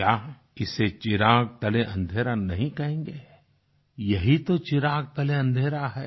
क्या इसे चिराग तले अन्धेरा नहीं कहेंगे यही तो चिराग तले अन्धेरा है